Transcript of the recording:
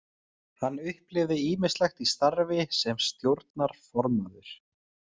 Hann upplifði ýmislegt í starfi sem stjórnarformaður.